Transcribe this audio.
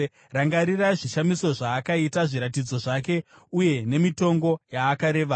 Rangarirai zvishamiso zvaakaita, zviratidzo zvake uye nemitongo yaakareva.